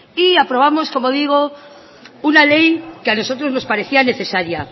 y aprobamos como digo una ley que a nosotros nos parecía necesaria